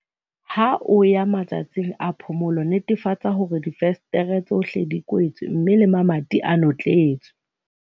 Ha o ya matsatsing a phomolo, netefatsa hore difenstere tsohle di kwetswe mme le mamati a notletswe.